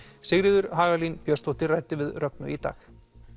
Sigríður Hagalín Björnsdóttir ræddi við Rögnu í dag